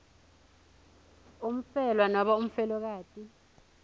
umfelwa nobe umfelokati